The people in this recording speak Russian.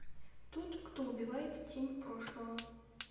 тот кто убивает тень прошлого